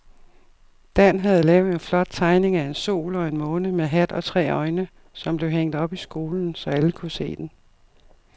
Dan havde lavet en flot tegning af en sol og en måne med hat og tre øjne, som blev hængt op i skolen, så alle kunne se den.